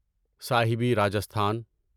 صاحبی Rajasthan